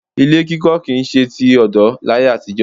Ilé kíkọ kì í ṣe ti ọ̀dọ́ láyé àtijọ́